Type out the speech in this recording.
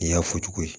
I y'a fɔ cogo di ye